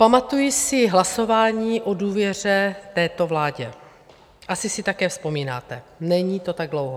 Pamatuji si hlasování o důvěře této vládě, asi si také vzpomínáte, není to tak dlouho.